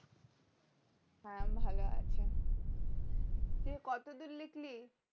হ্যাঁ ভালো আছে নিয়ে কত দূর লিখলি